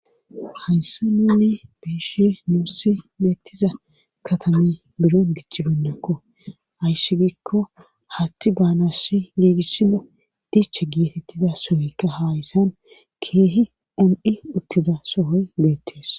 Haysa nune beeshe nuussi meettiza katame biro gichibennakko hayssi gikko hatti baanassi giigissino diche geetettida sohoykka haayssan keehi om7i uttida sohoy beettees.